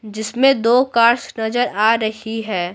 जिसमें दो कार्स नजर आ रही है।